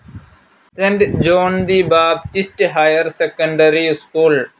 saint John the Baptist higher secondary school